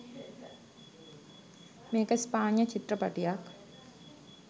මේක ස්පාඤ්ඤ චිත්‍රපටියක්.